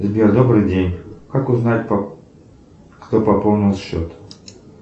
сбер добрый день как узнать кто пополнил счет